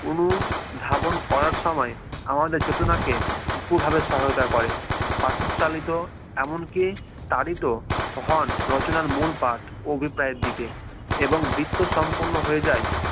অনুধাবন করার সময় আমাদের ছোট নাকে উপুর ভাবে সহায়তা করে পাঠক চালিত এমনকি তারিত হোন রচনার মূল পাঠ অভিপ্রায়ের দিকে এবং বৃত্ত সম্পন্ন হয়ে যায়